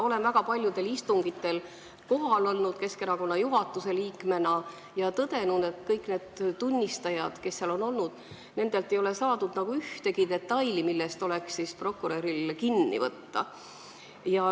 Olen väga paljudel istungitel Keskerakonna juhatuse liikmena kohal olnud ja tõdenud, et nendelt tunnistajatelt, kes seal on olnud, ei ole saadud ühtegi detaili, millest oleks prokuröril olnud võimalik kinni võtta.